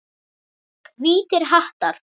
Hvítir hattar.